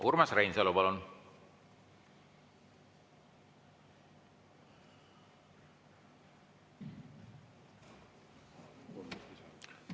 Urmas Reinsalu, palun!